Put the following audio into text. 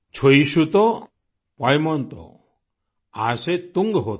छुई शुतो पॉयमॉन्तो आशे तुंग होते